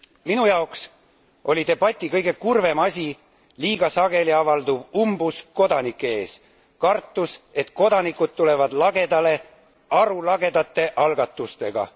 Minu jaoks oli debati kõige kurvem asi liiga sageli avalduv umbusk kodanike ees, kartus, et kodanikud tulevad lagedale arulagedate algatustega.